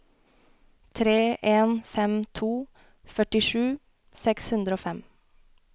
tre en fem to førtisju seks hundre og fem